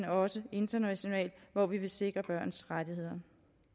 også internationalt hvor vi vil sikre børns rettigheder